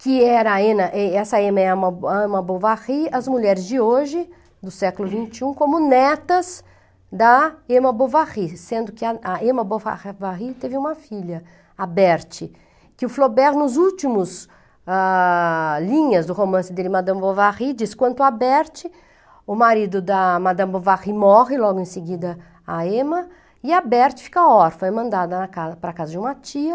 que era a Emma eh, essa Emma Bovary, as mulheres de hoje, do século vinte e um, como netas da Emma Bovary, sendo que a Emma Bovary teve uma filha, a Bertie, que o Flaubert, nos últimos, ah, linhas do romance dele, Madame Bovary, diz quanto a Bertie, o marido da Madame Bovary morre, logo em seguida a Emma, e a Bertie fica órfã, é mandada ca para a casa de uma tia,